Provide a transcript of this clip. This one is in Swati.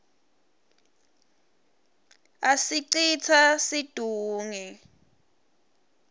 asicitsa situnge